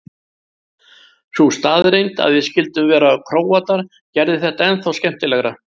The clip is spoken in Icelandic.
Sú staðreynd að við skyldum vera Króatar gerði þetta ennþá skemmtilegra.